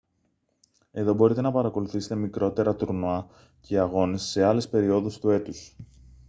εδώ μπορείτε να παρακολουθήσετε μικρότερα τουρνουά και αγώνες σε άλλες περιόδους του έτους